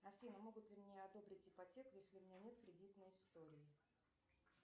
афина могут ли мне одобрить ипотеку если у меня нет кредитной истории